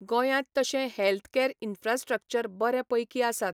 गोंयांत तशें health care infrastructure बरें पैकी आसात.